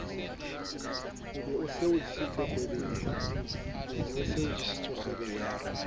be e o jesetse kgwebeleng